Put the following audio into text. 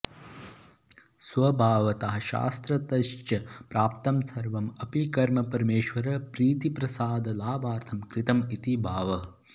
स्वभावतः शास्त्रतश्च प्राप्तं सर्वं अपि कर्म परमेश्वरप्रीतिप्रसादलाभार्थं कृतं इति भावः